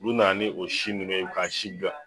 U nana ni o si nunnu ye k'a si bila